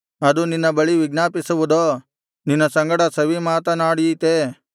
ಅದು ನಿನ್ನ ಬಳಿ ವಿಜ್ಞಾಪಿಸುವುದೋ ನಿನ್ನ ಸಂಗಡ ಸವಿಮಾತನಾಡೀತೇ